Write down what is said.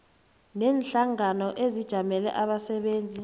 neenhlangano ezijamele abasebenzi